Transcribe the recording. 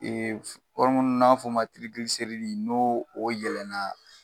Ee n'an b'a f'o ma n'o o yɛlɛna